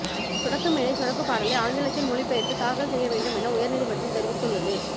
சொடக்கு மேல சொடக்கு பாடலை ஆங்கிலத்தில் மொழி பெயர்த்து தாக்கல் செய்ய வேண்டும் என உயர்நீதிமன்றம் தெரிவித்து உள்ளது